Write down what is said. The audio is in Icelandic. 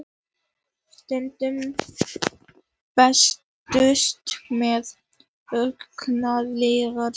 Stundum birtust mér óhugnanlegar sýnir.